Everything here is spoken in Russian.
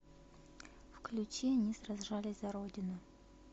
включи они сражались за родину